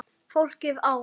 Fólkið á